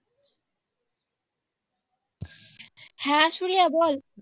হ্যাঁ সুরিয়া বল